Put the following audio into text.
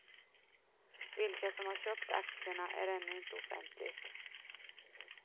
Vilka som har köpt aktierna är ännu inte offentligt.